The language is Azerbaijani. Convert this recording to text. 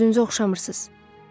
Özünüzə oxşamırsız.